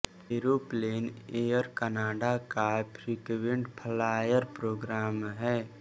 aeroplane Air Canada का frequent flyer programme हैं